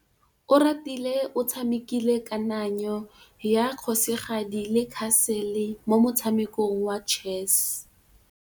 Oratile o tshamekile kananyô ya kgosigadi le khasêlê mo motshamekong wa chess.